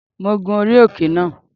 Mo gun orí òkè náà